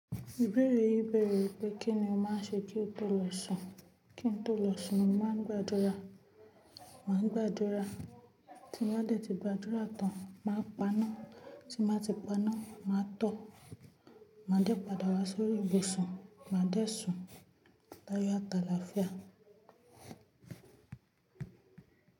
Ìbéèrè yìí bẹ̀rẹ̀ wípé kí ni o máa ń ṣe kí o tó lọ sùn? Kí n tó lọ sùn, mo màá ń gbàdúrà. Màá ń gbàdúrà. Tí n bá dẹ̀ ti gbàdúrà tán, màá paná. Tí màá ti paná, màá tọ̀. Màá dẹ̀ padà wá sórí ibùsùn, màá dẹ̀ sùn. Láyò àt'àláfíà.